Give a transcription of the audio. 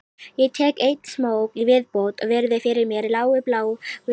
Ég tek einn smók í viðbót og virði fyrir mér lágu bláu fjöll